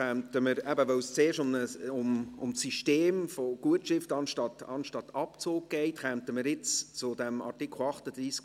Weil es zuerst um das System der Gutschrift anstatt des Abzugs geht, kommen wir jetzt zu Artikel 38b.